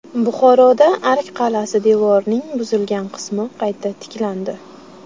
Buxoroda Ark qal’asi devorining buzilgan qismi qayta tiklandi.